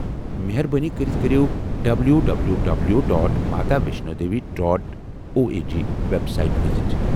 مہربٲنی كرِتھ كریو W W W dot Maavaishno Devi dot O E G website visit